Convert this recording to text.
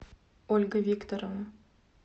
ольга викторовна